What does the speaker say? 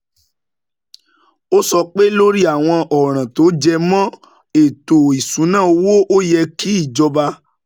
Ó sọ pé, lórí àwọn ọ̀ràn tó jẹ mọ́ ètò ìṣúnná owó, ó yẹ kí ìjọba